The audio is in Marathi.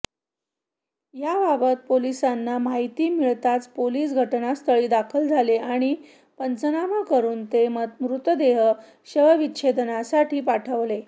याबाबत पोलिसांना माहिती मिळताच पोलीस घटनास्थळी दाखल झाले आणि पंचनामा करून ते मृतदेह शवविच्छेदनासाठी पाठवले